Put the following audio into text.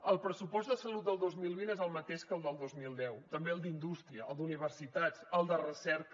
el pressupost de salut del dos mil vint és el mateix que el del dos mil deu també el d’indústria el d’universitats el de recerca